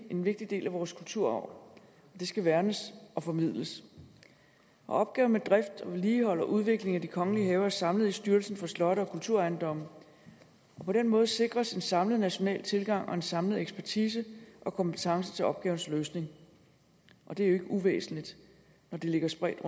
en vigtig del af vores kulturarv og det skal værnes og formidles opgaven med drift vedligehold og udvikling af de kongelige haver er samlet i styrelsen for slotte og kulturejendomme på den måde sikres en samlet national tilgang og en samlet ekspertise og kompetence til opgavens løsning og det er jo ikke uvæsentligt når de ligger spredt